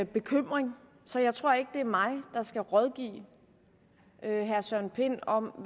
bekymring så jeg tror ikke det er mig der skal rådgive herre søren pind om